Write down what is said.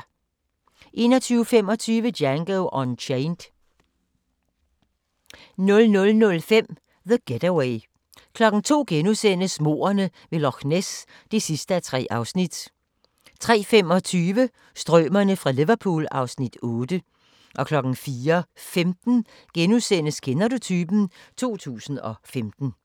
21:25: Django Unchained 00:05: The Getaway 02:00: Mordene ved Loch Ness (3:3)* 03:25: Strømerne fra Liverpool (Afs. 8) 04:15: Kender du typen? 2015 *